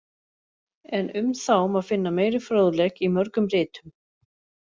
En um þá má finna meiri fróðleik í mörgum ritum.